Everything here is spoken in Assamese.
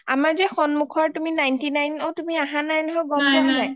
আমাৰ যে সন্মুখৰ ninety nine অ তুমি আহাঁ নাই নহয় গম পোৱা নাই